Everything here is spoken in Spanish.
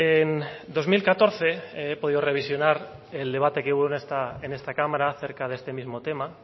en dos mil catorce he podido revisionar el debate que hubo en esta cámara acerca de este mismo tema